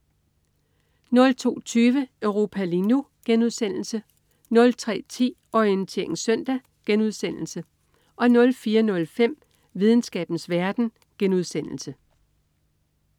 02.20 Europa lige nu* 03.10 Orientering Søndag* 04.05 Videnskabens verden*